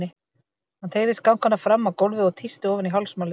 Hann teygði skankana fram á gólfið og tísti ofan í hálsmálið.